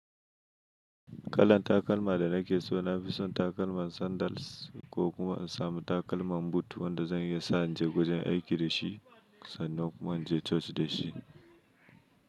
Kalan takalma da nake so, na fi son takalman sandals ko kuma in samu takalman boot wanda zan iya sa in je wajen aiki da shi, sannan kuma in je coci da shi.